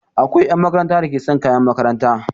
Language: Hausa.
Akwai 'yan makaranta da ke sa kayan makaranta.